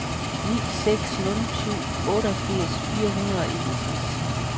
ni seks nul syv otteogfirs fire hundrede og enogtres